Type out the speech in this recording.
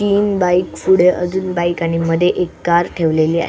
तीन बाइक पुढे अजून बाइक आणि मध्ये एक कार ठेवलेली आ --